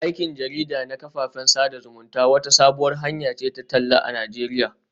Aikin jarida na kafafen sada zumunta wata sabuwar hanya ce ta talla a Najeriya